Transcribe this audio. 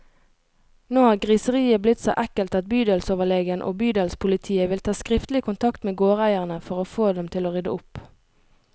Nå har griseriet blitt så ekkelt at bydelsoverlegen og bydelspolitiet vil ta skriftlig kontakt med gårdeierne, for å få dem til å rydde opp.